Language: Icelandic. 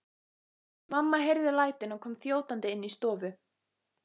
Mamma heyrði lætin og kom þjótandi inn í stofu.